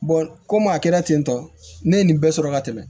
komi a kɛra ten tɔn ne ye nin bɛɛ sɔrɔ ka tɛmɛ